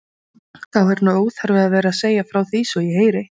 Þáð er nú óþarfi að vera að segja frá því svo ég heyri.